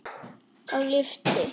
Þá lyfti